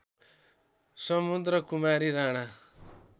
Samudrakumari Rana